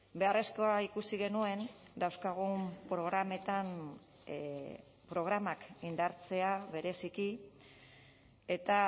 beharrezkoa ikusi genuen dauzkagun programetan programak indartzea bereziki eta